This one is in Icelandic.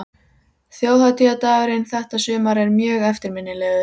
Þjóðhátíðardagurinn þetta sumar er mjög eftirminnilegur.